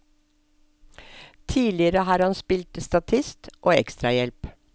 Tidligere har han spilt statist og ekstrahjelp.